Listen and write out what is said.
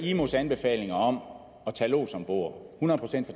imos anbefalinger om at tage lods om bord hundrede procent